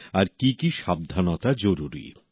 আর কি কি সাবধানতা জরুরি